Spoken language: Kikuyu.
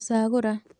Gũcagũra